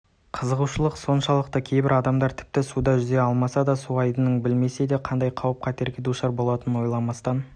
қызығушылық соншалықты кейбір адамдар тіпті суда жүзе алмасада су айдынын білме-седе қандай қауіп-қатерлерге душар болуларын ойламастан